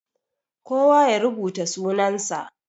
Kowa ya rubuta sunan sa.